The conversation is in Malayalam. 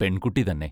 പെൺകുട്ടി തന്നെ.